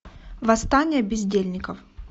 восстание бездельников